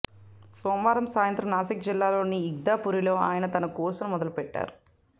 సోమవారం సాయంత్రం నాసిక్ జిల్లాలోని ఇగ్తాపురిలో ఆయన తన కోర్సును మొదలు పెట్టారు